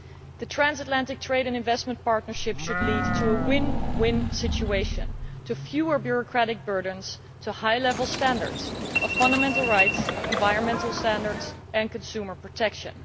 The Transatlantic Trade and Investment Partnership should lead to a win win situation, to fewer bureaucratic burdens, and to high standards of fundamental rights, environmental standards and consumer protection.